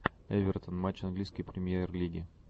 эвертон матч английской премьер лиги